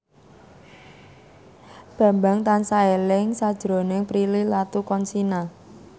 Bambang tansah eling sakjroning Prilly Latuconsina